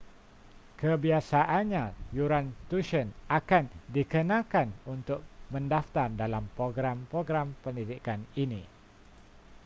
kebiasaannya yuran tuisyen akan dikenakan untuk mendaftar dalam program-program pendidikan ini